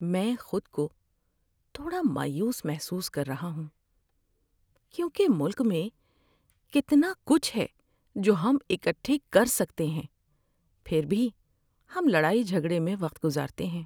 میں خود کو تھوڑا مایوس محسوس کر رہا ہوں کیونکہ ملک میں کتنا کچھ ہے جو ہم اکٹھے کر سکتے ہیں، پھر بھی ہم لڑائی جھگڑے میں وقت گزارتے ہیں۔